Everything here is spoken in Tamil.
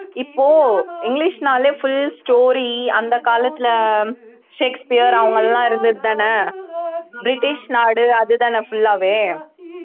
இப்போ இங்கிலிஷ்னாலே full story அந்த காலத்திலே ஷேக்ஸ்பியர் அவங்க எல்லாம் இருந்ததுதானே பிரிட்டிஷ் நாடு அதுதானே full ஆவே